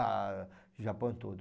Ah, o Japão todo.